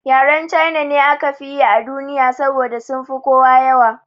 Yaren China ne aka fi yi a duniya saboda sunfi kowa yawa